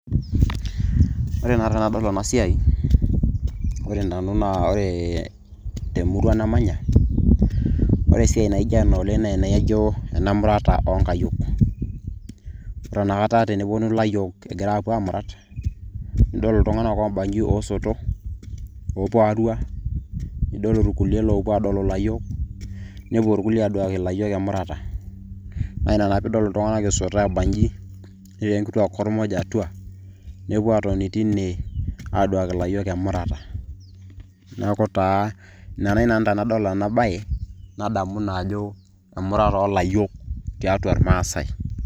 Ore naa tenadol enasiai, ore nani naa ore temurua namanya, ore esiai naijo ena oleng' naijo enemurata oonkayiok. Ore inakata teneponu layiok egirai apuo amurat, nidol iltung'anak oobanyi osoto, opo arua, nidol irkulie lopuo adolu layiok, nepuo irkulie aduaki layiok emurata. Na ina naa piidol iltung'anak esoto abanji. Netii enkitua kormoj atua, nepuo atoni teine aduaki layiok emurata. Neeku taa ore nai nanu tenadol enabae, nadamu naa ajo emurata olayiok tiatua irmaasai.